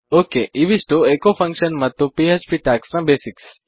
okay ಇವಿಷ್ಟೂ echo function ಮತ್ತು PHP tags ನ ಬೇಸಿಕ್ಸ್